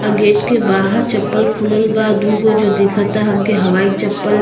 अ gate के बाहर चप्पल खुलल बा। दू गो जो दिखता हमके हवाई चप्पल।